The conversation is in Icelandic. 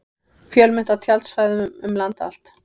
Fjölmennt á tjaldsvæðum um land allt